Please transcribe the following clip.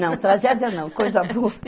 Não, tragédia não, coisa boa.